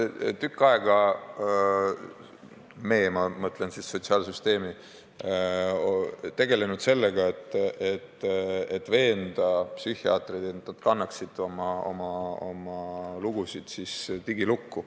Me oleme tükk aega – ma mõtlen siis sotsiaalsüsteemi – tegelenud sellega, et veenda psühhiaatreid, et nad kannaksid oma lugusid digilukku.